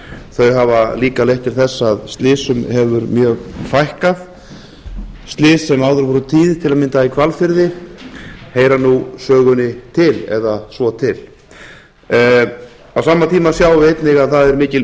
þau hafa líka leitt til þess að slysum hefur mjög fækkað slys sem áður voru tíð til að mynda í hvalfirði heyra nú sögunni til eða svo til á sama tíma sjáum við einnig að það er mikil